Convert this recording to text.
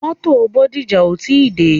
Mótò Bódìjà ò tí dé.